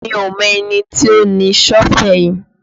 Mi ò mọ ẹni tí ó ni Sọ́fẹ̀ yí